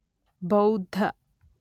ಬೌದ್ಧ